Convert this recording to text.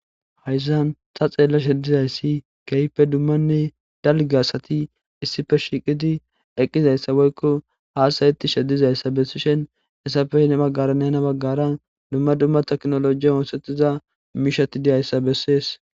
Hayissan ta xelashshe dizayissi kehippe dumanne dalga asati issippe shiqidi eqidayissa woyikko hasayetishshe dizayissa heni bagara dumma dumma technology oththetiza mishati dizayissa besses